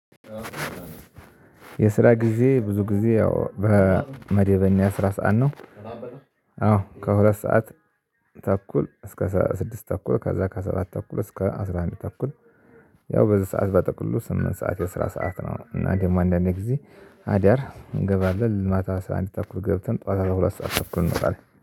የስራ ጊዜ ብዙ ጊዜ ያው በመደበኛ ስራ ሰዓት ነው። አዎ ከሁለት ሰዓት ተኩል እስከ ስድስት ተኩል ከዛ ከሰባት ተኩል እስከ አስራ አንድ ተኩል። ያው በዚህ ሰዓት በጠቅሉ ስምንት ሰዓት የስራ ሰዓት ነው። እና ደግሞ አንዳንዴ ጊዜ አዳር እንገባለን ማታ 11:30 ገብተን ጠዋታ ለሁለት ሰዓት ታብኩር እንቃለን